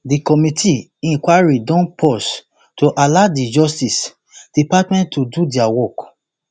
di committee inquiry don pause to allow di justice department to do dia work